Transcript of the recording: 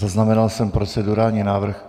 Zaznamenal jsem procedurální návrh.